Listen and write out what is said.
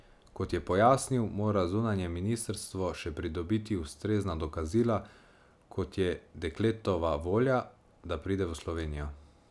Kot je pojasnil, mora zunanje ministrstvo še pridobiti ustrezna dokazila, kot je dekletova volja, da pride v Slovenijo.